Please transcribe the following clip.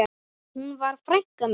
Hún var frænka mín.